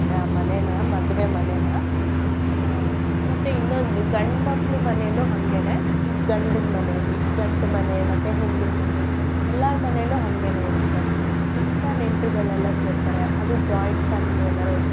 ಆ ಮನೆನ ಮದ್ವೆ ಮನೆನ. ಆ ಮತ್ತೆ ಇನ್ನೊಂದು ಗಂಡ್ ಮಕ್ಳ್ ಮನೆಲು ಹಂಗೇನೇ ಈ ಗಂಡನ್ ಮನೇಲಿ ಗಂಡ್ ಮನೆ ಮತ್ತೆ ಹೆಣ್ಣಿನ್ ಮನೆ ಎಲ್ಲಾರ್ ಮನೆಲು ಹಂಗೆನೆ ಇರತ್ತೆ ತುಂಬಾ ನೆಂಟ್ರ್ಗಳೆಲ್ಲ ಸೇರ್ತಾರೆ. ಅದು joint family ಎನಾರು ಇತ್ತು.